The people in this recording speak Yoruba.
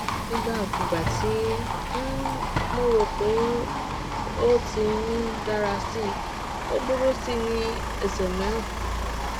nigbakugba ti um mo ro pe pe o ti n dara si o buru si ni ẹsẹ miiran